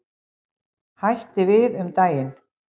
Hætti við um daginn.